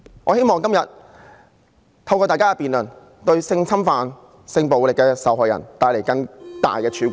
我希望今天透過大家的辯論，為性侵犯和性暴力的受害人帶來更大的曙光......